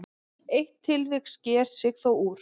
Eitt tilvik sker sig þó úr.